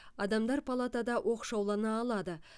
адамдар палатада оқшаулана алады